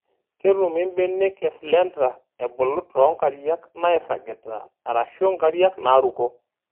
Ketumi mbenek eslender ebulu too nkariak nairagita arashu nkariak naaruko .